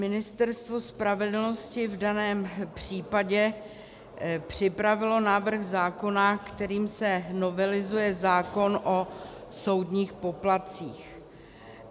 Ministerstvo spravedlnosti v daném případě připravilo návrh zákona, kterým se novelizuje zákon o soudních poplatcích.